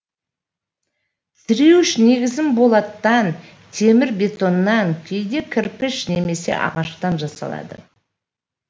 тіреуіш негізінен болаттан темір бетоннан кейде кірпіш немесе ағаштан жасалады